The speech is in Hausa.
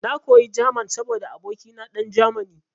Na koyi German saboda abokina dan Germany.